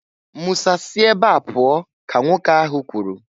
"Musa si ebe a pụọ!" ka nwoke ahụ kwuru.